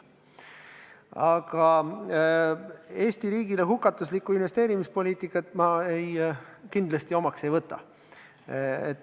Aga Eesti riigile hukatuslikku investeerimispoliitikat ma kindlasti omaks ei võta.